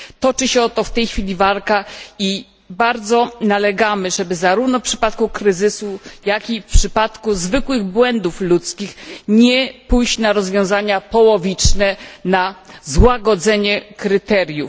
Toczy się o to w tej chwili walka i bardzo nalegamy, żeby zarówno w przypadku kryzysu, jak i w przypadku zwykłych błędów ludzkich nie pójść na rozwiązania połowiczne, na złagodzenie kryteriów.